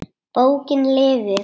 Bókin lifir!